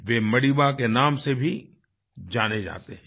वे Madiba के नाम से भी जाने जाते हैं